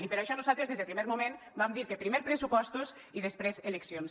i per això nosaltres des del primer moment vam dir que primer pressupostos i després eleccions